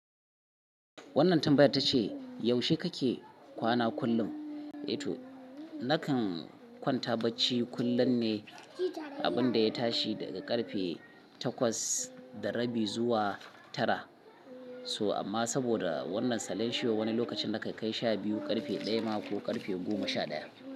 Wannan tambayar ta ce yaushe kake kwana kullum? Eh tou, nakan kwanta bacci kullum ne abin da ya tashi daga karfe takwas da rabi zuwa tara. So amma saboda wannan salensho wani lokacin na kai kai sha biyu, karfe daya ma ko karfe goma sha ɗaya.